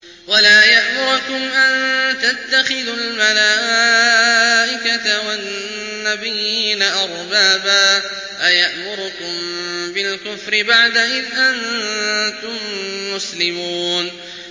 وَلَا يَأْمُرَكُمْ أَن تَتَّخِذُوا الْمَلَائِكَةَ وَالنَّبِيِّينَ أَرْبَابًا ۗ أَيَأْمُرُكُم بِالْكُفْرِ بَعْدَ إِذْ أَنتُم مُّسْلِمُونَ